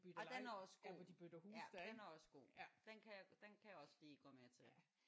Ja den er også god ja den er også god den kan jeg den kan jeg også lige gå med til